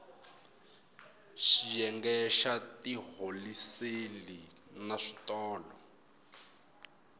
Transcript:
xiyenge xa tiholiseli na switolo